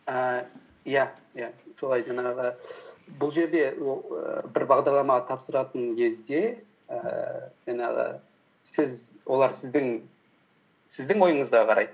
ііі иә иә солай жаңағы бұл жерде бір бағдарламаға тапсыратын кезде ііі жаңағы олар сіздің ойыңызға қарайды